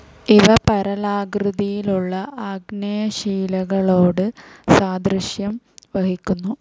ഇവ പരലാകൃതിയുള്ള ആഗ്നേയശിലകളോട് സാദൃശ്യം വഹിക്കുന്നു.